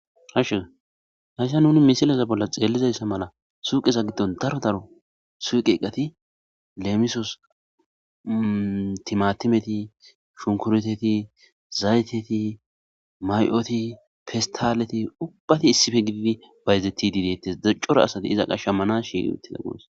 ashe hasha nuni misilaza bolla xeellizayssa mala suuqeza giddon daro daro suuqeeqqati leemisos timatimeti shunkureteti zayteti may7oti festaleti ubbati issife gidibi bayzeti diidettes daccora asati iza qasha mana shi uttida gusa